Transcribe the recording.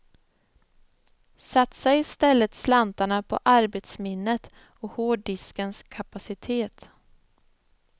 Satsa istället slantarna på arbetsminnet och hårddiskens kapacitet.